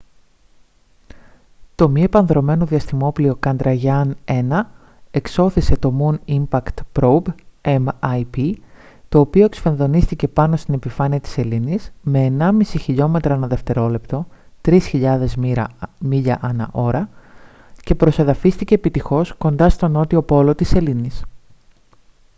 το μη επανδρωμένο διαστημόπλοιο chandrayaan-1 εξώθησε το moon impact probe mip το οποίο εκσφενδονίστηκε πάνω στην επιφάνεια στην σελήνης με 1,5 χιλιόμετρα ανά δευτερόλεπτο 3.000 μίλια ανά ώρα και προσεδαφίστηκε επιτυχώς κοντά στον νότιο πόλο της σελήνης